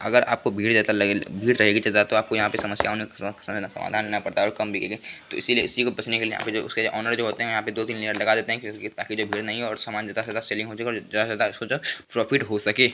अगर आपको भीड़ जैसा लग भीड़ रही गी तो आपको समस्या हो सकती है इसी को बचने के लिए यहां के जो ओनर होते हैं दो-तीन लेयर लगा देते है और सामान ज्यादा ज्यादा सेलिंग हो जाए ज्यादा ज्यादा प्रॉफिट हो सके।